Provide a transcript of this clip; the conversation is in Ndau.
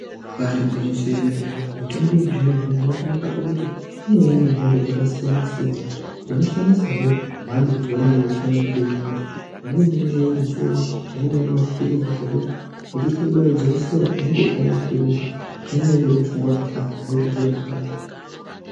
Ibari gwinyiso yemene, mitombo yechizvino-zvino yakanaka pakuti inouya nemhando dzakasiyana-siyana. Unoshandisahe mhando yaunenge uchiona kuti ndoinoita. Imweni inouya iri mvura, amweni anouya ari maphirizi zvekuti uchitya kubaiwa jekisera, unongopuwa maphirizi, unenge ungori mushonga wakafanana, unoita zviro zvakafanana.